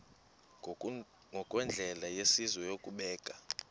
ngokwendlela yesizwe yokubeka